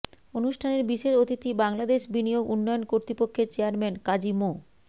অনুষ্ঠানের বিশেষ অতিথি বাংলাদেশ বিনিয়োগ উন্নয়ন কর্তৃপক্ষের চেয়ারম্যান কাজী মো